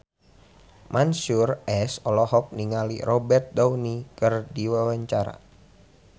Mansyur S olohok ningali Robert Downey keur diwawancara